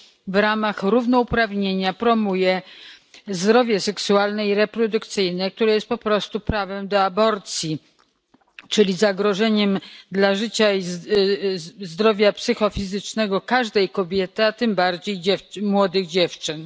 w ramach równouprawnienia promuje zdrowie seksualne i reprodukcyjne, które jest po prostu prawem do aborcji, czyli zagrożeniem dla życia i zdrowia psychofizycznego każdej kobiety, a tym bardziej młodych dziewcząt.